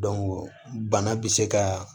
bana bɛ se ka